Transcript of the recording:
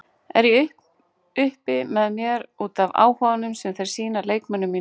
Er ég uppi með mér útaf áhuganum sem þeir sýna leikmönnunum mínum?